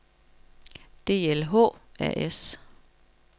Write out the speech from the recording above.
DLH A/S